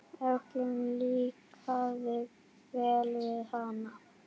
Öllum líkaði vel við hana.